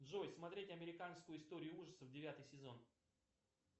джой смотреть американскую историю ужасов девятый сезон